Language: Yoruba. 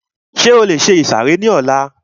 Ṣé o lè ìsàrẹ́ ní ọlá?